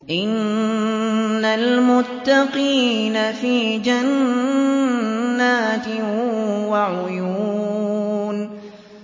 إِنَّ الْمُتَّقِينَ فِي جَنَّاتٍ وَعُيُونٍ